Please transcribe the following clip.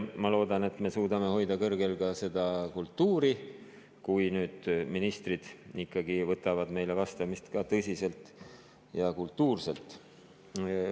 Ma loodan, et me suudame hoida kõrgel ka seda kultuuri, et ministrid võtavad meile vastamist tõsiselt ja kultuurselt.